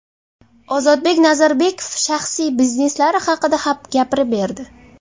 Ozodbek Nazarbekov shaxsiy bizneslari haqida gapirib berdi.